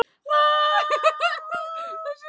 Ég átti hana ein.